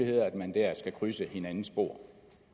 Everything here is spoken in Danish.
i at man der skal krydse hinandens spor